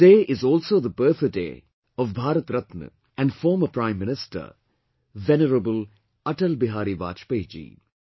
Today is also the birthday of Bharat Ratna and former Prime Minister Venerable Atal Bihari Vajpayee Ji